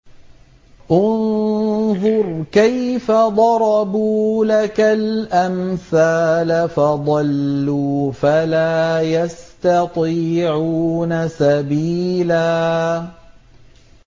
انظُرْ كَيْفَ ضَرَبُوا لَكَ الْأَمْثَالَ فَضَلُّوا فَلَا يَسْتَطِيعُونَ سَبِيلًا